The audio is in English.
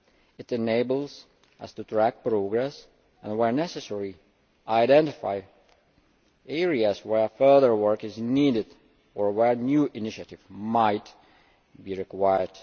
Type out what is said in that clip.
It enables us to track progress, and where necessary, identify areas where further work is needed or where new initiatives might be required.